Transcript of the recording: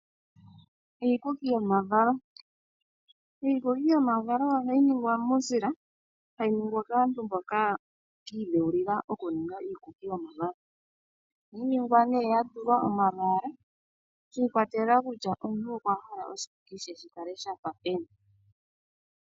Iikuki yomavalo ohayi ningwa muusila. Ohayi ningwa kaantu mboka yiidheulila okuninga iikuki yomavalo . Ohayi ningwa yatulwa omalwaala shiikwatelela kutya omuntu okwahala oshikuki she shili ngiini.